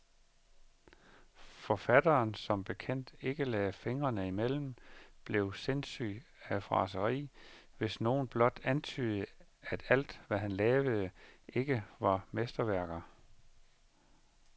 Forfatteren, der som bekendt ikke lagde fingrene imellem, blev sindssyg af raseri, hvis nogen blot antydede, at alt, hvad han lavede, ikke var mesterværker.